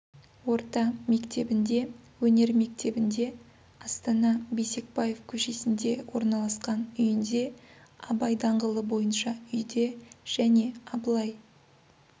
орта мектебінде өнер мектебінде астана бейсекбаев көшесінде орналасқан үйінде абай даңғылы бойынша үйде және абылай